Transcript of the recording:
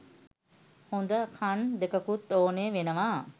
හොද කන් දෙකකුත් ඕනේ වෙනවා